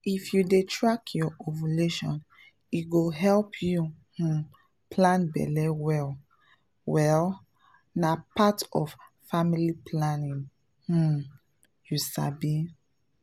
if you dey track your ovulation e go help you um plan belle well well — na part of family planning um you sabi!